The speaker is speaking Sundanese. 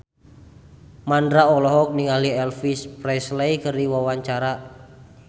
Mandra olohok ningali Elvis Presley keur diwawancara